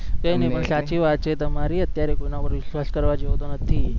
એને પણ સાચી વાત છે તમરી અત્યારે કોઈના પર વિશ્વાસ કરવા જેવો તો નથી